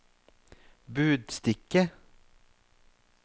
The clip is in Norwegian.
budstikke